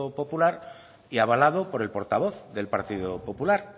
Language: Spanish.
popular y avalado por el portavoz del partido popular